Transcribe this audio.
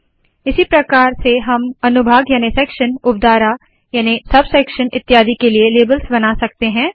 इसी प्रकार से हम अनुभाग याने सेक्शन उपधारा याने सब सेक्शन इत्यादि के लिए लेबल्स बना सकते है